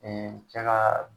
cɛ kaa